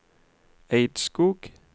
Eidskog